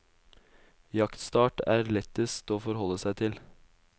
Jaktstart er lettest å forholde seg til.